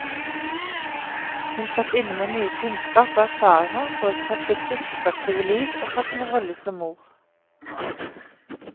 Hun satt inne med mye kunnskap og erfaringer både fra sitt yrkesaktive liv og fra sin rolle som mor.